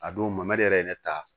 A don mamadu yɛrɛ ye ne ta